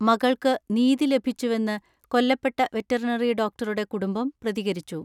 മകൾക്ക് നീതി ലഭിച്ചുവെന്ന് കൊല്ലപ്പെട്ട വെറ്ററിനറി ഡോക്ട റുടെ കുടുംബം പ്രതികരിച്ചു.